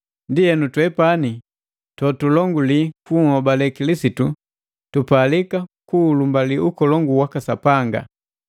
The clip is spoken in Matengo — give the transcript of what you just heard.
Ndienu, twepani totulonguli kunhobale Kilisitu tupalika kuulumbalii ukolongu waka Sapanga!